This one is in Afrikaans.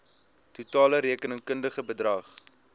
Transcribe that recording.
totale rekenkundige bedrag